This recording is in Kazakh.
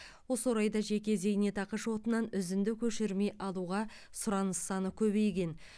осы орайда жеке зейнетақы шотынан үзінді көшірме алуға сұраныс саны көбейген